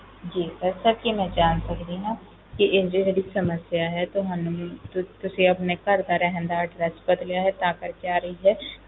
ਜੀ sir ਕੀ ਮੈਂ ਜਾਣ ਸਕਦੀ ਆ ਇਹ ਜਿਹੜੀ ਸਮੱਸਿਆ ਏ ਇਹ ਤੁਸੀਂ ਆਪਣੇ ਘਰ ਦਾ address ਬਦਲਿਆ ਹੈ ਇਸ ਲਈ ਆ ਰਹੀ ਏ